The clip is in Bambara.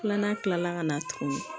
Filanan kila la ka na tuguni